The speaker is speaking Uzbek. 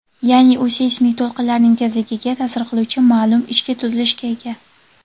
ya’ni u seysmik to‘lqinlarning tezligiga ta’sir qiluvchi ma’lum ichki tuzilishga ega.